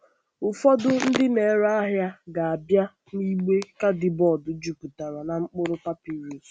Ụfọdụ ndị na-ere ahịa ga-abịa na igbe kaadibọọdụ jupụtara na mkpụrụ papịrụs.